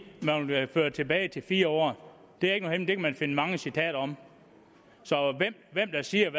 at man tilbage til fire år det er ikke nogen kan man finde mange citater om så hvem der siger